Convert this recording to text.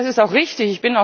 Das ist auch richtig.